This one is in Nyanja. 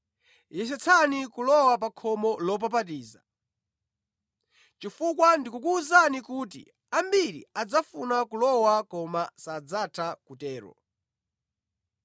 “Yesetsani kulowa pa khomo lopapatiza, chifukwa ndikukuwuzani kuti ambiri adzafuna kulowa koma sadzatha kutero.